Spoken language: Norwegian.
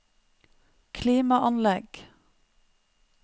klimaanlegg